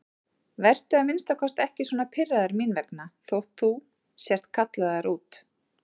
Vertu að minnsta kosti ekki svona pirraður mín vegna þótt þú sért kallaður út.